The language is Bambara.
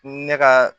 Ne ka